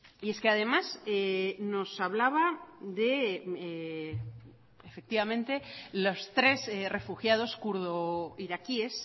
y es que además nos hablaba efectivamente los tres refugiados kurdo iraquíes